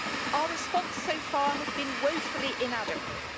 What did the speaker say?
Our response so far has been woefully inadequate.